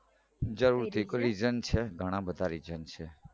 જરૂરથી કોઈ reason છે ઘણા બધા reason છે